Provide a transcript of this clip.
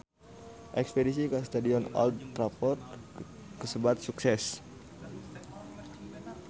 Espedisi ka Stadion Old Trafford kasebat sukses